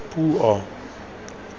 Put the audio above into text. puo